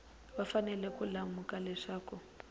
va fanele ku lemuka leswaku